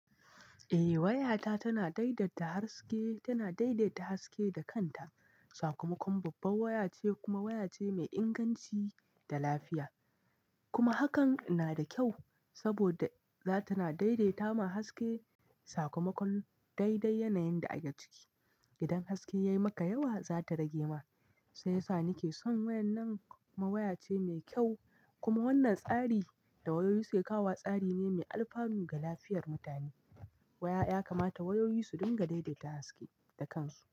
Eh waya ta tana daidaita harske, tana daidaita haske da kanta. Sakamakon babbar waya ce kuma waya ce mai inganci da lafiya. Kuma hakan na da kyau saboda za ta na daidaita ma haske. Sakamakon daidai yanayin da ake ciki. Idan haske ya yi maka yawa, za ta rage ma, sai yasa nike son wayar nan. Dan waya ce mai kyau kuma wannan tsari da wayoyi suke kawo tsari ne mai alfanu ga lafiyar mutane. Waya ya kamata wayoyi su dinga daidaita haske da kansu.